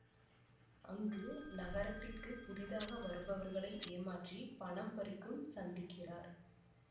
அங்கு நகரத்திற்கு புதிதாக வருபவர்களை ஏமாற்றி பணம் பறிக்கும் சந்திக்கிறார்